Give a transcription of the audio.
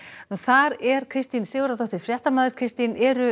þar er Kristín Sigurðardóttir fréttamaður Kristín eru